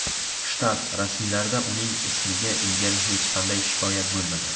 Shtat rasmiylarida uning ismiga ilgari hech qanday shikoyat bo‘lmagan.